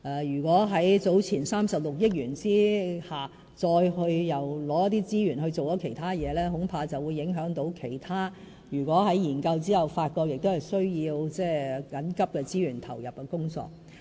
如果在早前的36億元之下再撥出資源做其他事，恐怕會影響其他在研究後發覺需要緊急投入資源的工作。